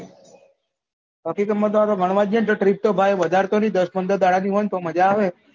બાકી તો ભાઈ અમે તો ગણવા જયીયે તો ત્રીસ તો નહી ભાઈ વધાર તો નહી દસ પંદર દાડા ભી હોય તો મજા આવે